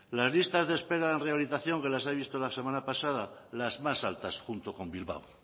las listas de espera en rehabilitación que las he visto la semana pasada las más altas junto con bilbao